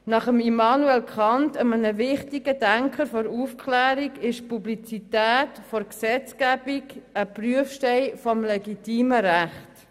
Nach Immanuel Kant, einem wichtigen Denker der Aufklärung, ist die Publizität der Gesetzgebung ein Prüfstein des legitimen Rechts.